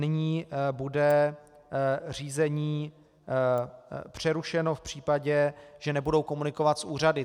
Nyní bude řízení přerušeno v případě, že nebudou komunikovat s úřady.